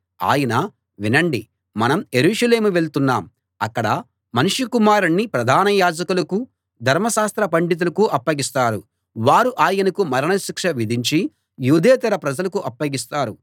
ఆయన వినండి మనం యెరూషలేము వెళ్తున్నాం అక్కడ మనుష్య కుమారుణ్ణి ప్రధాన యాజకులకు ధర్మశాస్త్ర పండితులకు అప్పగిస్తారు వారు ఆయనకు మరణశిక్ష విధించి యూదేతర ప్రజలకు అప్పగిస్తారు